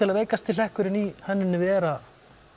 veikasti hlekkurinn í hönnuninni vera